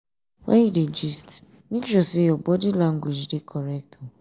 when you dey gist make sure say your body language dey correct.